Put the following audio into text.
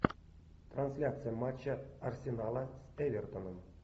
трансляция матча арсенала с эвертоном